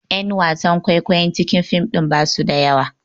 Ƴan wasan kwaikwayon cikin fim ɗin basu da yawa